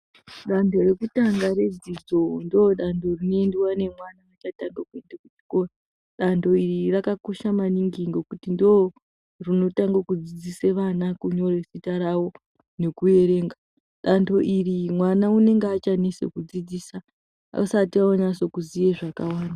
Dando rokutanga nedzidzo ndodando rinoenda nemwana kudando iri rakakosha maningi ngekuti ndorinotanga kudzidzisa vana kureketa kwawo nekuerenga Dando iri mwana unenge achanesa kudzidziswa asati onyasa kuziva zvakanaka.